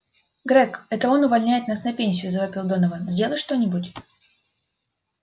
грег это он увольняет нас на пенсию завопил донован сделай что-нибудь